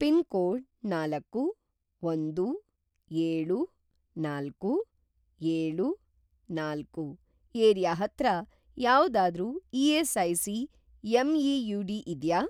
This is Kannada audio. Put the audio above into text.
ಪಿನ್‌ಕೋಡ್‌ ನಾಲ್ಕು, ಒಂದು, ಏಳು, ನಾಲ್ಕು, ಏಳು, ನಾಲ್ಕು ಏರಿಯಾ ಹತ್ರ ಯಾವ್ದಾದ್ರೂ ಇ.ಎಸ್.ಐ.ಸಿ. ಎಂ.ಇ.ಯು.ಡಿ. ಇದ್ಯಾ?